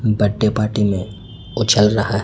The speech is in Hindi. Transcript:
बड्डे पार्टी में उछल रहा--